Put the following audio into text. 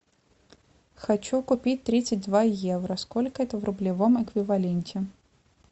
хочу купить тридцать два евро сколько это в рублевом эквиваленте